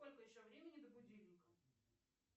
сколько еще времени до будильника